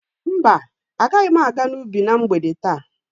Mba, agaghị m aga n'ubi na mgbede taa.